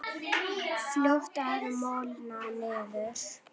Fljótt að molna niður.